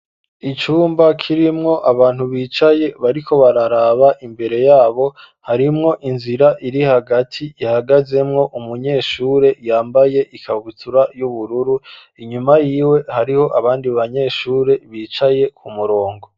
Icumba, kirimwo abantu bicaye, bariko bararaba imbere yabo; harimwo inzira iri hagati, ihagazemwo umunyeshure, yambaye ikabutura, y'ubururu; inyuma yiwe, hariho abandi banyeshure, bicaye ku murongo.